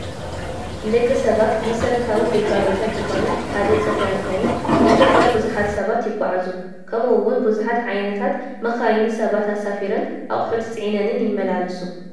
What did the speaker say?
ንደቂ ሰባት መሰረታዊ ግልጋሎታት ዝኾነ ሓደ ፅርግያ እንትኸውን ብፅርግያ ብዙሓት ሰባት ይጓዓዙ፡፡ ከምኡ ውን ብዙሓት ዓ/ት መካይን ሰባት ኣሳፊረንን ኣቕሑት ፂዒነን ይመላለሳሉ፡፡